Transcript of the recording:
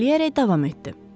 Kəkələyərək davam etdi.